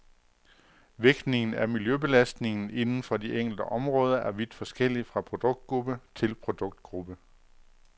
Vægtningen af miljøbelastningen inden for de enkelte områder er vidt forskellig fra produktgruppe til produktgruppe.